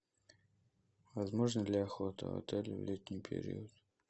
возможна ли охота в отеле в летний период